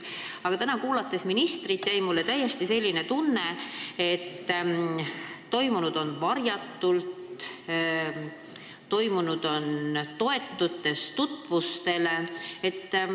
Aga täna ministrit kuulates jäi mulle selline tunne, et on toimunud midagi varjatut, toetudes tutvustele.